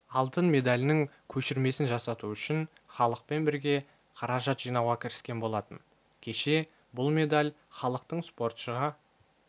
алтын медалінің көшірмесін жасату үшін іалықпен бірге қаражат жинауға кіріскен болатын кешебұл медаль іалықтың спортшыға